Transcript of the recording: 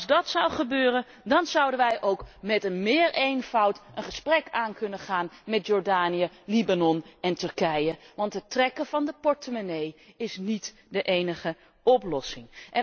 En als dat zou gebeuren, dan zouden wij ook veel eenvoudiger een gesprek kunnen aangaan met Jordanië, Libanon en Turkije, want het trekken van de portemonnee is niet de enige oplossing.